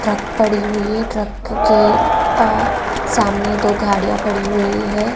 Truck पड़ी हुई है ट्रक के अ सामने दो गाड़ियां पड़ी हुई हैं।